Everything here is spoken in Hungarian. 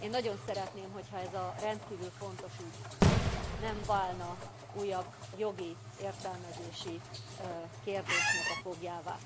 Én nagyon szeretném, hogyha ez a rendkívül fontos ügy nem válna újabb jogi értelmezési kérdésnek a foglyává.